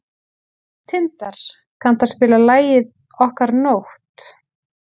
Tindar, kanntu að spila lagið „Okkar nótt“?